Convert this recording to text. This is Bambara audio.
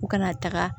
U kana taga